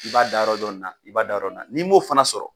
I b'a dayɔrɔ dɔn ni na i b'a da yɔrɔ dɔn ni na, ni mo fana sɔrɔ.